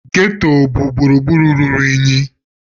Ghetto bụ gburugburu ruru unyi.